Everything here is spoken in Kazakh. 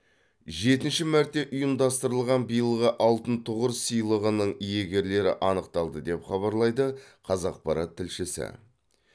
жетінші мәрте ұйымдастырылған биылғы алтын тұғыр сыйлығының иегерлері анықталды деп хабарлайды қазақпарат тілшісі